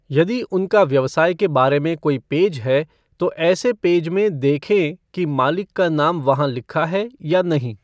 यदि उनका व्यवसाय के बारे में कोई पेज है, तो ऐसे पेज में देखें कि मालिक का नाम वहां लिखा है या नहीं।